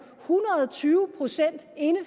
hundrede tyve procent inde